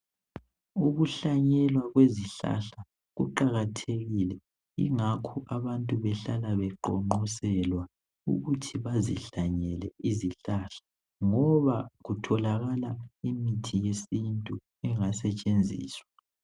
Ukuhlanyelwa kwezihlahla kuqakathekile ingakho abantu behlala beqonqoselwa ukuthi bezihlanyele izihlahla ngoba kutholakala imithi yesintu engasetshenziswa.